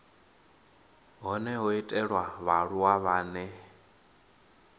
hone ho itelwa vhaaluwa vhane